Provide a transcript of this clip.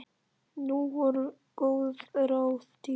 Nú voru góð ráð dýr!